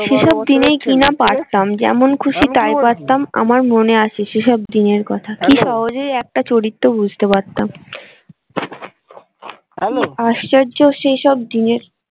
সেসব দিনে কি না পারতাম যেমন খুশি তাই পারতাম আমার মনে আছে সেসব দিনের কথা কি সহজেই একটা চরিত্র বুঝতে পারতাম আশ্চর্য সেসব দিনের।